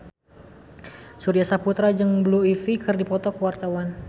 Surya Saputra jeung Blue Ivy keur dipoto ku wartawan